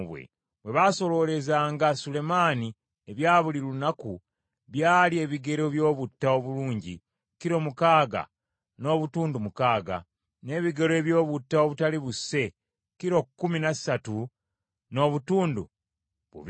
Bye baasoloolezanga Sulemaani ebya buli lunaku byali ebigero by’obutta obulungi kilo mukaaga n’obutundu mukaaga, n’ebigero eby’obutta obutaali buse, kilo kumi na ssatu n’obutundu bubiri;